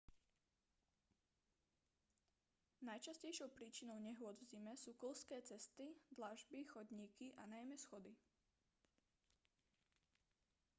najčastejšou príčinou nehôd v zime sú klzké cesty dlažby chodníky a najmä schody